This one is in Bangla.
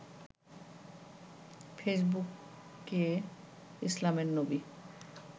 ফেইসবুকে ইসলামের নবী